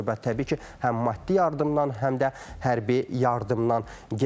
Burda söhbət təbii ki, həm maddi yardımdan, həm də hərbi yardımdan gedir.